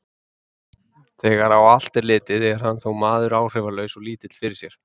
Þegar á allt er litið, er hann þó maður áhrifalaus og lítill fyrir sér.